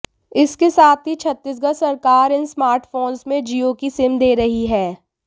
इसके साथ ही छत्तीसगढ़ सरकार इन स्मार्टफोन्स में जियो की सिम दे रही है